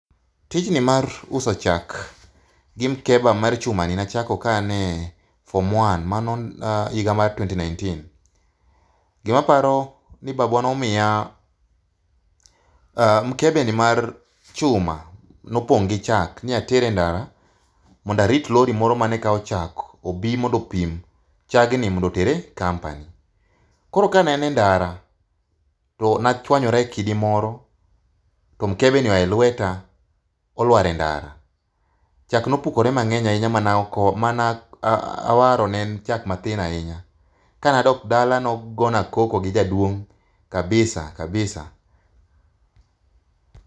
Tijni mar uso chak gi mkebe mar chumani ne achako ka an e form one mano higa mar twenty nineteen. Gimaparo ni babwa nomiya mkebeni mar chuma, nopong' gi chak ni ater e ndara mondo arit lori mondo mane kawo chak obi mondo opim chagni mondo oter e company. Koro kane an e ndara, to nachwanyora e kidi moro to mkebeni oa e lweta ,olwar e ndara. Chak nopukore mang'eny ahinya manawaro ne en chak mathin ahinya. Kanadok dala nogona koko gi jaduong' kabisa kabisa.